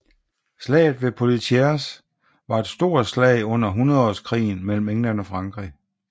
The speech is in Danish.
Slaget ved Poitiers var et stor slag under hundredeårskrigen mellem England og Frankrig